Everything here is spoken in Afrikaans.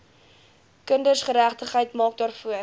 kindergeregtigheid maak daarvoor